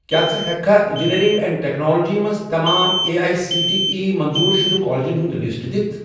کیٛاہ ژٕ ہیٚککھا اِنٛجِنیٚرِنٛگ اینٛڈ ٹیکنالوجی مَنٛز تمام A I C T E منظور شُدٕ کالجن ہُنٛد لسٹ دِتھ؟